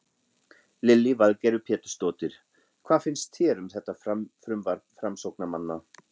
Lillý Valgerður Pétursdóttir: Hvað finnst þér um þetta frumvarp framsóknarmanna?